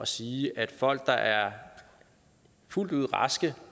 sige at folk der er fuldt ud raske